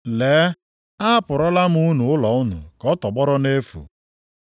Lee, a hapụrụla unu ụlọ unu ka ọ tọgbọrọ nʼefu.